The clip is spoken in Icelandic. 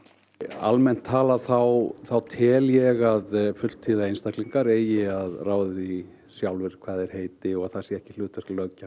almennt talað þá þá tel ég að fulltíða einstaklingar eigi fá að ráða því sjálfir hvað þeir heiti og það sé ekki löggjafans